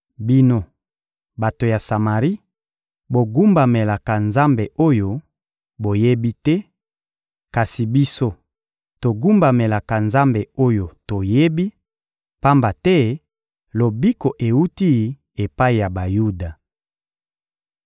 Bino, bato ya Samari, bogumbamelaka nzambe oyo boyebi te; kasi biso, togumbamelaka Nzambe oyo toyebi, pamba te lobiko ewuti epai ya Bayuda.